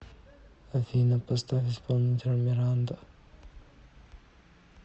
афина поставь исполнителя миранда